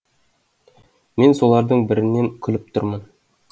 мен солардың бірінен келіп тұрмын